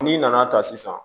N'i nana ta sisan